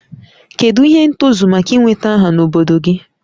Kedu ihe ntozu maka ị nweta aha n'obodo gị?